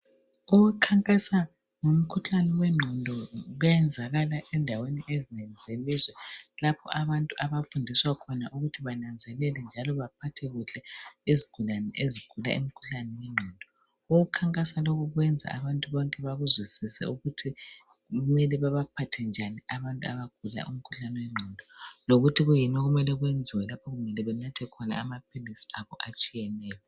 Ukukhankasa ngomkhuhlane wengqondo kuyayenzakala endaweni ezinengi zelizwe lapho abantu abafundiswa khona ukuthi bananzelele njalo baphathe kuhle izigulane ezigula imikhuhlane yengqondo. Ukukhankasa lokhu kwenza abantu bonke bekuzwisise ukuthi kumele babaphathe njani abantu abagula umkhuhlane wengqondo . Lokuthi kuyini okumele kwenziwe lapho kumele banathe khona amaphilisi abo atshiyeneyo.